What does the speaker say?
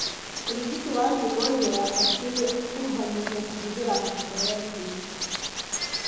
ũrigiti wa pneumonia ya bakteria ũkuruhanagia kũhũthĩra antibiotĩki.